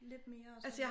Lidt mere sådan